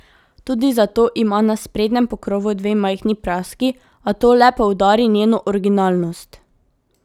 Tudi zato ima na sprednjem pokrovu dve majhni praski, a to le poudari njeno originalnost.